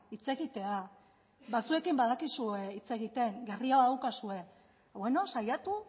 hitz egitea batzuekin badakizue hitz egiten gerria badaukazue saiatu